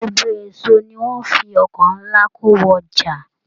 Gbogbo èso ní wọn fí ọkọ nlá ko wọ ọjà.